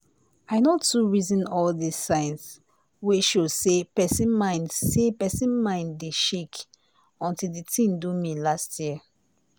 i no too reason all dis sign wey show say person mind say person mind dey shake until d tin do me last year